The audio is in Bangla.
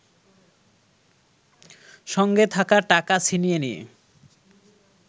সঙ্গে থাকা টাকা ছিনিয়ে নিয়ে